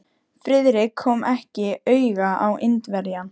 Friðrik kom ekki auga á Indverjann.